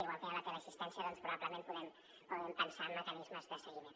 igual que hi ha la teleassistència probablement podem pensar en mecanismes de seguiment